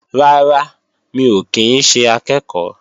Rárá, mi ò kí ń ṣe akẹ́ẹ̀kọ́